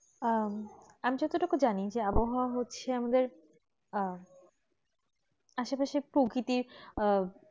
উম আমি যতটুকু জানি যে আবহাওয়া হচ্ছে আমাদের আহ আসে পাশে প্রকৃতি আর